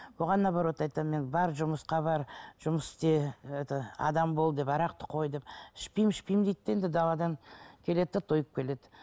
оған наоборот айтамын мен бар жұмысқа бар жұмыс істе это адам бол деп арақты қой деп ішпеймін ішпеймін дейді де енді даладан келеді де тойып келеді